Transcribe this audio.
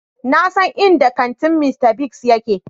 Na san inda kantin Mr. Biggs yake.